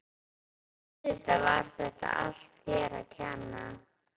En auðvitað var þetta allt þér að kenna.